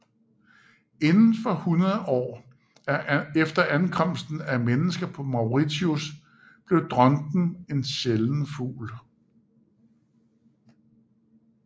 Inden for 100 år efter ankomsten af mennesker på Mauritius blev dronten en sjælden fugl